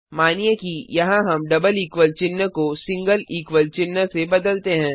मानिए कि यहाँ हम डबल इक्वल चिन्ह को सिंगल इक्वल चिन्ह से बदलते हैं